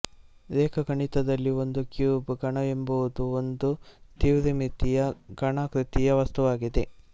ರೇಖಾಗಣಿತದಲ್ಲಿ ಒಂದು ಕ್ಯೂಬ್ ಘನಎಂಬುದು ಒಂದು ತ್ರಿವಿಮಿತೀಯ ಘನಾಕೃತಿಯ ವಸ್ತುವಾಗಿದೆ